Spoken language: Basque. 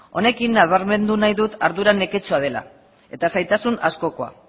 honekin nabarmendu nadi dut ardura neketsua dela eta zailtasun askokoa